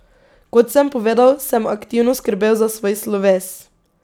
Kot sem povedal, sem aktivno skrbel za svoj sloves.